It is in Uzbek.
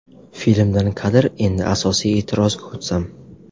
Filmdan kadr Endi asosiy e’tirozga o‘tsam.